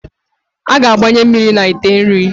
A ga-agbanye mmiri na ite nri.